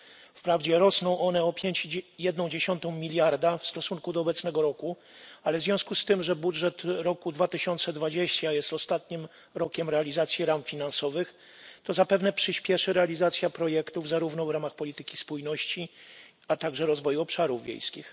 Wprawdzie rosną one o 5,1 miliarda w stosunku do obecnego roku, ale w związku z tym, że budżet roku 2020 jest ostatnim rokiem realizacji ram finansowych, to zapewne przyśpieszy realizacja projektów, zarówno w ramach polityki spójności, jak i rozwoju obszarów wiejskich.